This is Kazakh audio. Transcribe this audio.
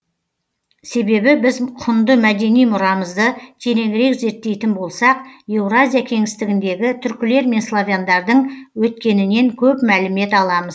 себебі біз құнды мәдени мұрамызды тереңірек зерттейтін болсақ еуразия кеңістігіндегі түркілер мен славяндардың өткенінен көп мәлімет аламыз